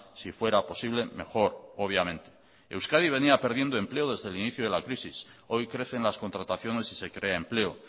si fuera posible mejor obviamente euskadi venía perdiendo empleo desde el inicio de la crisis hoy crece en las contrataciones y se crea empleo